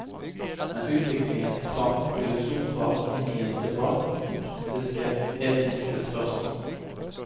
Men utviklingen tvang filosofer inn i en debatt om praktiske etiske spørsmål.